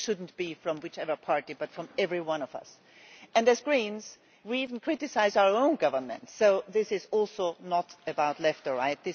This should not be from whichever party, but from every one of us. As Greens, we even criticise our own governments, so this is also not about left or right.